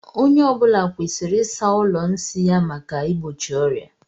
Onye ọ bụla kwesịrị ịsa ụlọ nsi ya maka igbochi ọria.